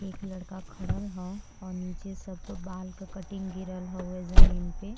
एक लड़का खडल हउ और नीचे सबके बाल का कटिंग गिरल हउवे जमीन पे।